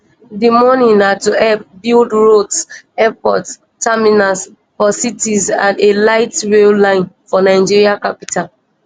di money na to help build roads airport terminals for cities and a lightrail line for nigeria capital